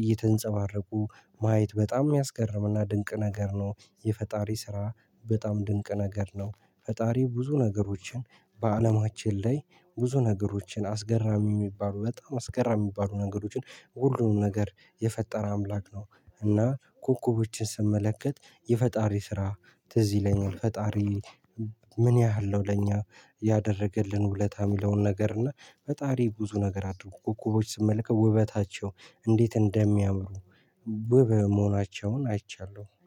እየተንጸባረቁ ማየት በጣም የሚያስገርምና ድንቅ ነገር ነው። የፈጣሪ ስራ በጣም ድንቅ ነገር ነው። ፈጣሪ ብዙ ነገሮችን በአለማችን ላይ ብዙ ነገሮችን አስገራሚ የሚባሉ በጣም አስገራሚ የሚባሉ ነገሮችን ሁሉንም ነገር የፈጠረ አምላክ ነው። እና ኮኮቦችን ስመለከት የፈጣሪ ስራ ትዝ ይለኛል። ፈጣሪ ምን ያህል ነው ለኛ ያደረገልን ውለታ የሚለውን ነገር? እና ፈጣሪ ብዙ ነገር አድርጓል። ኮኮቦች ስመልከት ውበታቸው እንዴት እንደሚያምሩ ውብ መሆናቸውን አይቻለሁ